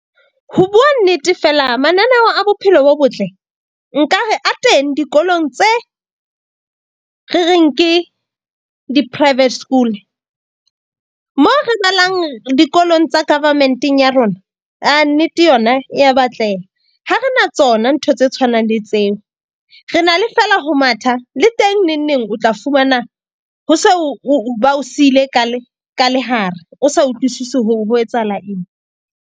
Ho bua nnete, fela mananeo a bophelo bo botle. Nka re ateng dikolong tse re reng ke di-private school mo re balang dikolong tsa government-eng ya rona, aa nnete yona e ya batleha. Ha re na tsona ntho tse tshwanang le tseo. Re na le feela ho matha le teng neng neng o tla fumana, ho se o ba o siile ka lehare. O sa utlwisisi hore ho etsahala eng.